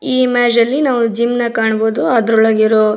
ಈ ಇಮೇಜ್ ಅಲ್ಲಿ ನಾವು ಜಿಮ್ನ ಕಾಣಬಹುದು ಅದ್ರೊಳಗಿರೋ --